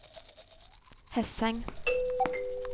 Hesseng